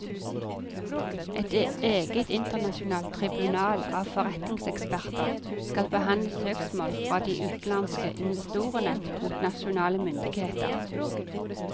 Et eget internasjonalt tribunal av forretningseksperter skal behandle søksmål fra de utenlandske investorene mot nasjonale myndigheter.